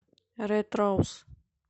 рэд роуз